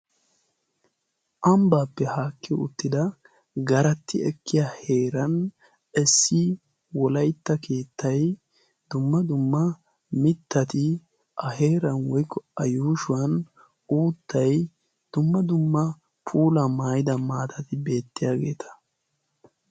Ambbaappe haakki uttida garatti ekkiya heeran essi wolaitta keettay dumma dumma mittati a heeran woikko a yuushuwan uuttai dumma dumma puula maayida maatati beettiyaageeta.